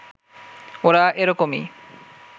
ওরা এরকমই